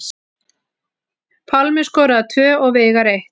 Pálmi skoraði tvö og Veigar eitt